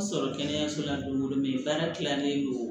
sɔrɔ kɛnɛyaso la don dɔ ye baara tilanen don